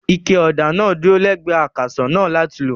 Ike ọ̀dà kan dúró lẹ́gbẹ̀ẹ́ akàsọ̀ náà láti lò.